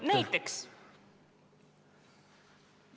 Näiteks?